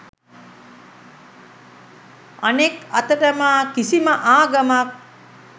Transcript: අනෙක් අතට මා කිසිම ආගමක්